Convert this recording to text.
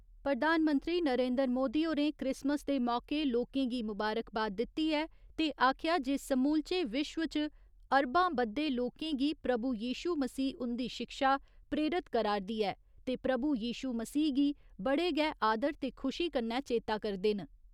प्रधानमंत्री नरेन्द्र मोदी होरें क्रिसमस दे मौके लोकें गी मुबारकबाद दित्ती ऐ ते आखेआ जे समूलचे विश्व च अरबां बद्दे लोकें गी प्रभु यिशू मसीह हुन्दी शिक्षा प्रेरत करा'रदी ऐ ते प्रभु यिशू मसीह गी बड़े गै आदर ते खुशी कन्नै चेता करदे न।